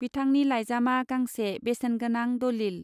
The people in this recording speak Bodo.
बिथांनि लाइजामा गांसे बेसेन गोनां दलिल.